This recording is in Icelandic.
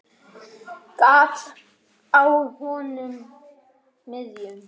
Gat á honum miðjum.